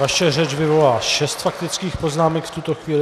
Vaše řeč vyvolala šest faktických poznámek v tuto chvíli.